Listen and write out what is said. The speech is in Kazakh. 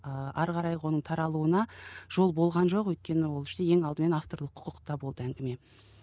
ыыы ары қарайғы оның таралуына жол болған жоқ өйткені ол ең алдымен авторлық құқықта болды әңгіме